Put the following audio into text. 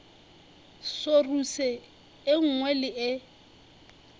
soruse e nngwe le e